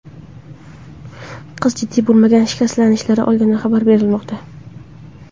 Qiz jiddiy bo‘lmagan shikastlanishlar olgani xabar berilmoqda.